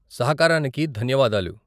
సహకారానికి ధన్యవాదాలు.